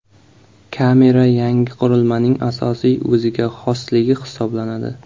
Kamera yangi qurilmaning asosiy o‘ziga xosligi hisoblanadi.